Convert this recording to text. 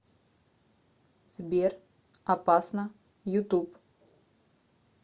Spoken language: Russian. сбер опасно ютуб